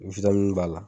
b'a la